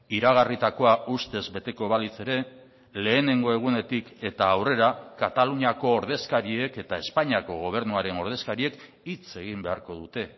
iragarritakoa ustez beteko balitz ere lehenengo egunetik eta aurrera kataluniako ordezkariek eta espainiako gobernuaren ordezkariek hitz egin beharko dute